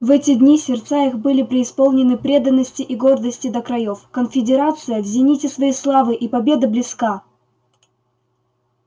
в эти дни сердца их были преисполнены преданности и гордости до краёв конфедерация в зените своей славы и победа близка